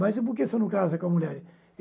Mas por que você não casa com a mulher?